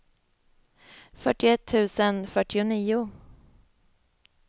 fyrtioett tusen fyrtionio